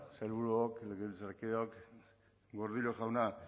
sailburuok legebiltzarkideok gordillo jauna